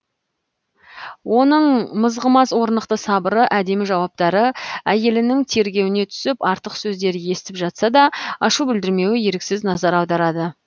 оның мызғымас орнықты сабыры әдемі жауаптары әйелінің тергеуіне түсіп артық сөздер естіп жатса да ашу білдірмеуі еріксіз назар аударады